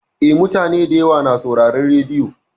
Eh, mutane da yawa na sauraron rediyo.